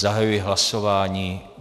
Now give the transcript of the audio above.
Zahajuji hlasování.